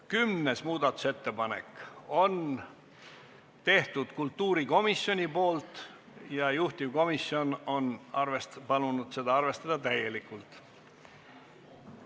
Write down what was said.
Kümnes muudatusettepanek on kultuurikomisjoni tehtud ja juhtivkomisjon on palunud seda arvestada täielikult.